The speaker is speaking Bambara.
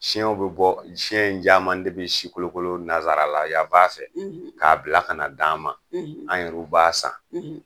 Siyɛn bɛ bɔ siyɛn in caman de bɛ si kolokolo nazsarala ya' fɛ k'a bila ka d an ma anuru ba san